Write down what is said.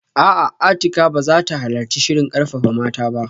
A'a, Atikah ba za ta halarci shirin karfafa mata ba